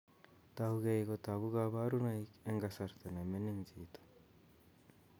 Tougei kotogu kaborunoik eng' kasarta neming'in chito